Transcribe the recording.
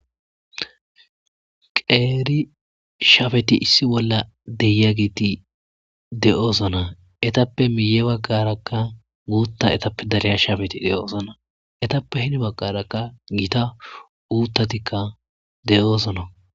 qeeri shafeti issi bolla deya giti de7oosona etappe miye baggarakka guutta etappe dariya shafeti de7ozana etappe hini baggarakka giita uuttatikka de7osona